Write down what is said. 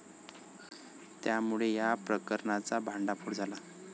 त्यामुळे या प्रकरणाचा भांडाफोड झाला.